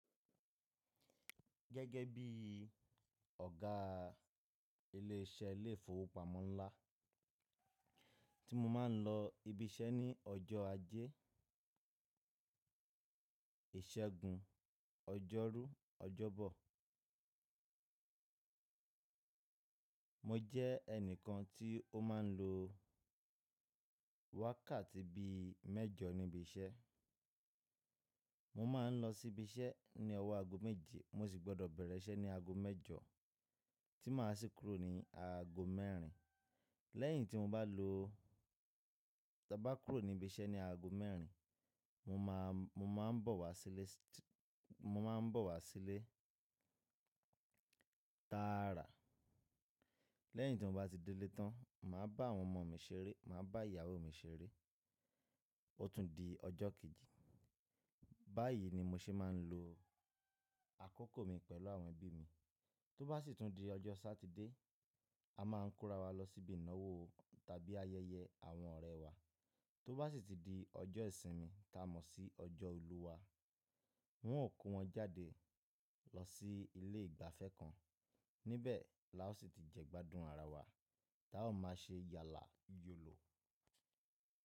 Gẹ́gẹ́ bí ọ̀gá ilé isẹ́ ilé ìfowópamọ́ ńlá tí mo máa ń lọ ibi isẹ́ ní ọjọ́ ajé, ìsẹ́gun, ọjọ́rú, ọjọ́bọ̀. Mo jẹ́ ẹnìkan tí ó máa ń lo wákàtí bí mẹ́jọ níbi isẹ́. Mo máa ń lọ sí ibi isẹ́ ní ọwọ́ aago méje mo sì gbọdọ̀ bẹ̀rẹ̀ isẹ́ ní aago mẹ́jọ tí máa sì kúrò ní aago mẹ́rin. Lẹ́yìn tí mo bá lọ-- tí a bá kúrò ní ibi isẹ́ ní aago mẹ́rin, mo máa, mo máa ń bọ̀ wá sílé, mo máa ń bọ̀ wá sílé tààrà. Lẹ́yìn tí mo bá ti dé lé tán, màá bá àwọn ọmọ mi ṣeré, màá bá ìyàwó mi ṣeré, ó tún di ọjọ́ kejì. Báyìí ni mo ṣe máa ń lo àkókò mi pẹ̀lú àwọn ẹbí mi. Tó bá sì tún di ọjọ́ Sátidé, a máa ń kóra wa lọ síbi ìnáwó tàbí ayẹyẹ àwọn ọ̀rẹ́ wa. Tó bá sì ti di ọjọ́ ìsinmi, ta mọ̀ sí ọjọ́ ìlúwa, wọn ó kó wọn jáde lọ sí ilé ìgbafẹ́ kan, níbẹ̀ la ó sì ti jẹ́ gbádùn ara wa, la ó máa ṣe yàlà yòlò.